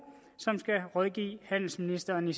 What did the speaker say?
som skal rådgive handelsministeren i